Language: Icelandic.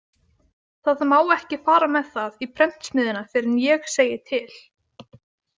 Það má ekki fara með það í prentsmiðjuna fyrr en ég segi til.